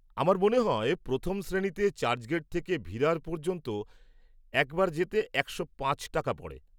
আমার মনে হয় প্রথম শ্রেণীতে চার্চগেট থেকে ভিরার পর্যন্ত একবার যেতে একশো পাঁচ টাকা পড়ে।